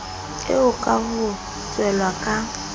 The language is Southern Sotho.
eo ka ho tshelwa ka